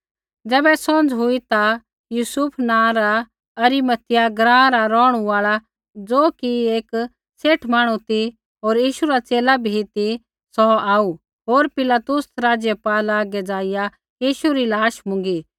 ज़ैबै सौंझ़ हुई ता यूसुफ नाँ रा अरिमतियाह ग्राँ रा रौहणु आल़ा ज़ो कि एक सेठ मांहणु ती होर यीशु रा च़ेला भी ती सौ आऊ होर पिलातुस राज़पाल हागै ज़ाइआ यीशु री लाश मुँगी